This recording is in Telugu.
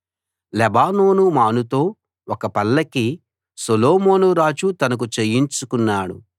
లెబానోను మానుతో ఒక పల్లకి సొలొమోనురాజు తనకు చేయించుకున్నాడు